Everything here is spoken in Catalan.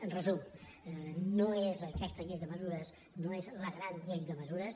en resum no és aquesta llei de mesures la gran llei de mesures